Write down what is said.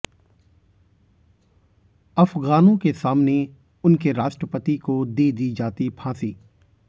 अफगानों के सामने उनके राष्ट्रपति को दे दी जाती फांसी